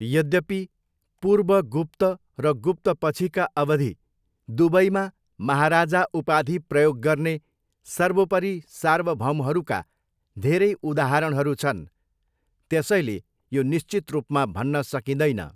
यद्यपि, पूर्व गुप्त र गुप्तपछिका अवधि दुवैमा महाराजा उपाधि प्रयोग गर्ने सर्वोपरि सार्वभौमहरूका धेरै उदाहरणहरू छन्, त्यसैले यो निश्चित रूपमा भन्न सकिँदैन।